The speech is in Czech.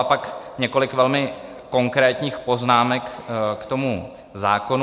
A pak několik velmi konkrétních poznámek k tomu zákonu.